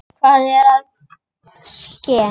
Hvað er að ske?